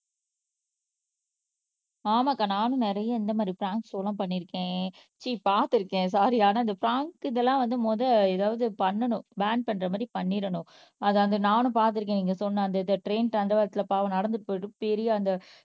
ஆமாக்கா நானும் நிறைய இந்த மாதிரி பிராங்க் ஷோ எல்லாம் பண்ணியிருக்கேன் சீ பாத்துருக்கேன் சாரி ஆனா இந்த பிராங்க் இதெல்லாம் வந்து முதல் எதாவது பண்ணணும் பான் பண்ற மாதிரி பண்ணிடணும் நானும் பார்த்திருக்கேன் நீங்க சொன்ன அந்த இது ட்ரெயின் தண்டவாளத்துள்ள பாவம் நடந்து போயிட்டு பெரிய அந்த